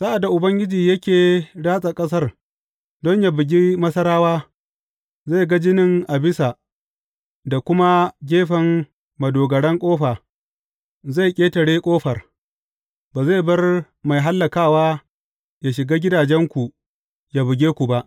Sa’ad da Ubangiji yake ratsa ƙasar don yă bugi Masarawa, zai ga jinin a bisa da kuma gefen madogaran ƙofa, zai ƙetare ƙofar, ba zai bar mai hallakawa yă shiga gidajenku, yă buge ku ba.